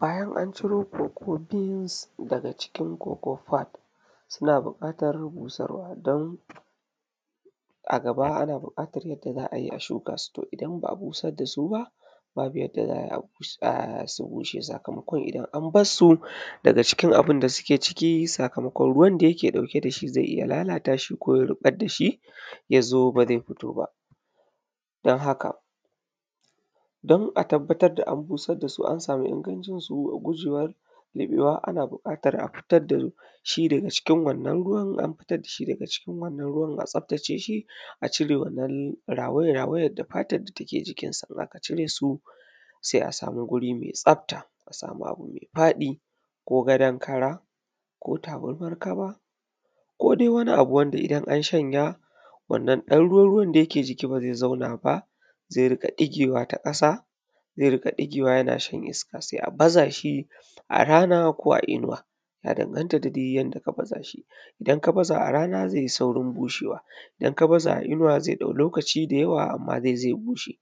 bayan an ciro koko bins a cikin koko fod suna buƙatar busarwa don a gaba bukatar yadda za a shukasu idan ba a busar da su ba babu yadda za ayi su bushe sakamakon idan an barsu daga ciki sakamakon abin da suke ciki sakamakon ko ruwan da yake ɗauke da shi yana lalataʃi ko ya ruɓar dashi ya zo ba zai fito ba don haka don a tabbatar da an busar da su an sama inganci su gujewa ruɓewa a fitar da shi daga cikin wannan ruwan an fitar da shi daga wannan ruwan a tsaftace ʃi a cire wannan rawaya rawayan da fatan da ta ke jikinsa acire su sai a samu guri mai tsafta a samu abu mai faɗi ko gadan kara ko tabarmar kaba ko dai wani abu wanda idan an shanja wannan ɗan ruwa rawan nan bai zauna ba zai rinƙa ɗigewa ta ƙasa zai rinƙa digewa ya shar iska a sa shi a rana ko a inuwa ya daganta da yadda ka baza shi idan ka baza shi a rana zai saurin bushe wa idan ka baza shi a inuwa zai ɗauka lokaci di yawa kafin ya bushe amma zai bushe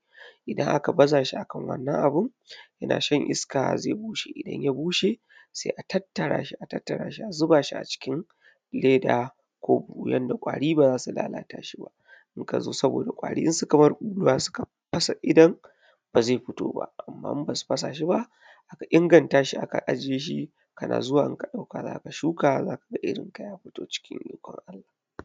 idan ka baza shi akan wannan abu yana shan iska zai bushe idan ya bushe sai a tattara shi a tattara shi a zuba shi acikin leda ko wurin da kwari ba zasu lalata shi ba amma in ka zo saboda idan kwari su ka bar kura suka fasa idon ba zai fito ba amma idan ba su fasa shiba ba aka inganta shi to idan a ka agiye shi kana zuwa za ka shuka za ka ga shunkarka ta fito da ikon Allah